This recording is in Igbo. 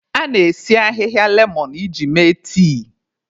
A na-esi ahịhịa lemọn iji mee tii.